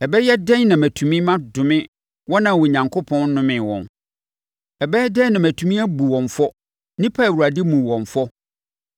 Ɛbɛyɛ dɛn na matumi madome wɔn a Onyankopɔn nnomee wɔn? Ɛbɛyɛ dɛn na matumi abu wɔn fɔ, nnipa a Awurade mmuu wɔn fɔ?